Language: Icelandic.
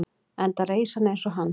enda reis hann eins og hann